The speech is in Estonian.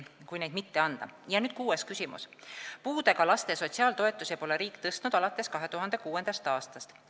Nüüd kuues küsimus: "Puudega laste sotsiaaltoetusi pole riik tõstnud alates 2006. aastast.